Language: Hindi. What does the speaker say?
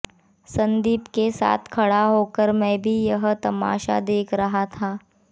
संदीप के साथ खड़ा होकर मैं भी यह तमाशा देख रहा था